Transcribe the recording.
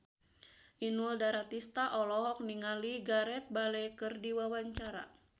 Inul Daratista olohok ningali Gareth Bale keur diwawancara